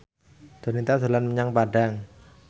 Donita dolan menyang Padang